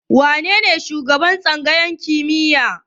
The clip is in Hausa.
Wanene shugaban tsangayar kimiyyar?